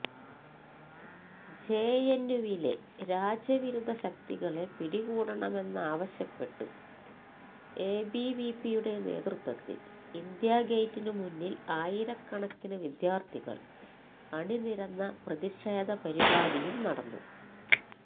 ജെഎന്യുവിലെ രാജ്യവിരുദ്ധ ശക്തികളെ പിടികൂടണമെന്നാവശ്യപ്പെട്ട് എബിവിപിയുടെ നേതൃത്വത്തില് ഇന്ത്യാഗേറ്റിന് മുന്നില് ആയിരക്കണക്കിന് വിദ്യാര്ത്ഥികള് അണിനിരന്ന പ്രതിഷേധ പരിപാടിയും നടന്നു